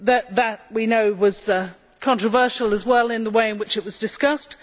That, we know, was controversial, as well in the way in which it was discussed.